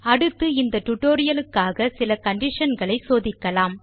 அடுத்து இந்த டியூட்டோரியல் க்காக சிலcondition களை சோதிக்கலாம்